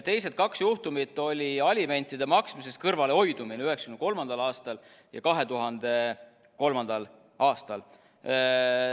Teised kaks juhtumit olid alimentide maksmisest kõrvalehoidumine 1993. aastal ja 2003. aastal.